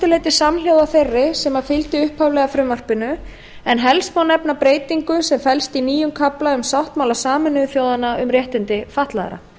mestu leyti samhljóða þeirri sem fylgdi upphaflega frumvarpinu en helst má nefna breytingu sem felst í nýjum kafla um sáttmála sameinuðu þjóðanna um réttindi fatlaðra